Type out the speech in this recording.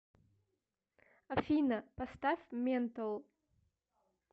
афина поставь ментол